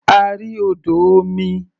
A rí odò omi.